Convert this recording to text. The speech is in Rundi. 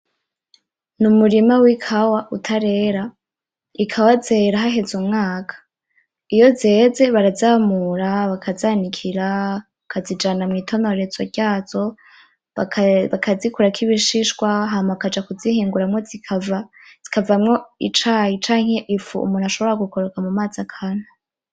Numurima wikawa utarera ikawa zera haheze umwaka iyo zeze barazamura bakazanikira bakazijana mwitonorezo ryazo bakazikurako ibishishwa hama bakaja kuzihinguramwo zikavamwo icayi canke ifu umuntu ashobora gukoroga mucayi akanywa